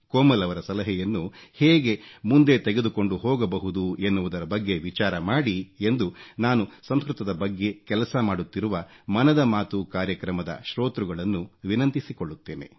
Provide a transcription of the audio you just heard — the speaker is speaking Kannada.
ಕೋಮಲ್ ರವರ ಸಲಹೆಯನ್ನು ಹೇಗೆ ಮುಂದೆ ತೆಗೆದುಕೊಂಡು ಹೋಗಬಹುದು ಎನ್ನುವುದರ ಬಗ್ಗೆ ವಿಚಾರ ಮಾಡಿ ಎಂದು ನಾನು ಸಂಸ್ಕೃತದ ಬಗ್ಗೆ ಕೆಲಸ ಮಾಡುತ್ತಿರುವ ಮನದ ಮಾತು ಕಾರ್ಯಕ್ರಮದ ಶ್ರೋತೃಗಳನ್ನು ವಿನಂತಿಸಿಕೊಳ್ಳುತ್ತೇನೆ